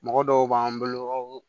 Mɔgɔ dɔw b'an bolo